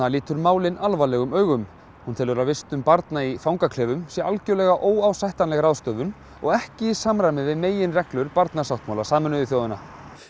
lítur málin alvarlegum augum hún telur að vistun barna í fangaklefum sé algjörlega óásættanleg ráðstöfun og ekki í samræmi við meginreglur barnasáttmála Sameinuðu þjóðanna